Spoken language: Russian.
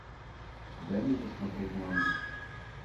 дай мне посмотреть мангу